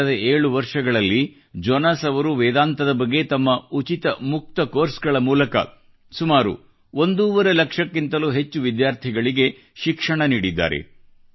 ಕಳೆದ 7 ವರ್ಷಗಳಲ್ಲಿ ಜೊನಾಸ್ ಅವರು ವೇದಾಂತದ ಬಗ್ಗೆ ತಮ್ಮ ಉಚಿತ ಮುಕ್ತ ಕೋರ್ಸ್ ಗಳ ಮೂಲಕ ಒಂದೂವರೆ ಲಕ್ಷಕ್ಕಿಂತಲೂ ಹೆಚ್ಚು ವಿದ್ಯಾರ್ಥಿಗಳಿಗೆ ಶಿಕ್ಷಣ ನೀಡಿದ್ದಾರೆ